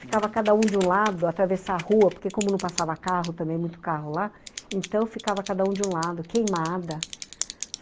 Ficava cada um de um lado, atravessar a rua, porque como não passava carro também, muito carro lá, então ficava cada um de um lado, queimada.